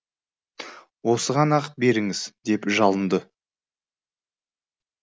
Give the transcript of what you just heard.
осыған ақ беріңіз деп жалынды